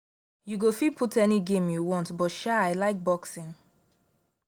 you go fit put any game you want but sha i like boxing